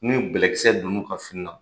Ni bɛlɛkisɛ don u ka fini na